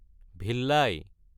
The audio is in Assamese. ভিলাই